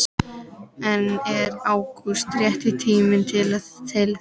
En er ágúst rétti tíminn til þess?